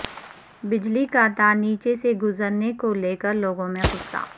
بجلی کا تار نیچے سے گزر نے کو لے کر لوگوں میں غصہ